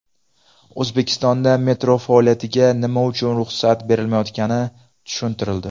O‘zbekistonda metro faoliyatiga nima uchun ruxsat berilmayotgani tushuntirildi.